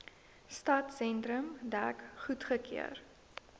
stadsentrum dek goedgekeur